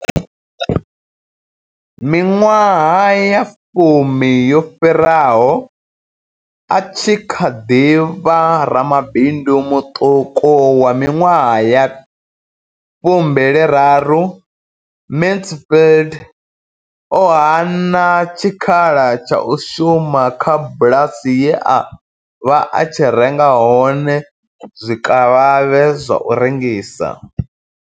Miṅwaha ya fumi yo fhiraho, a tshi kha ḓi vha ramabindu muṱuku wa miṅwaha ya fu mbili raru, Mansfield o hana tshikhala tsha u shuma kha bulasi ye a vha a tshi renga hone zwikavhavhe zwa u rengisa.